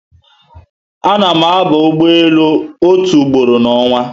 Ana mụ aba ụgbọelu otu ugboro na onwa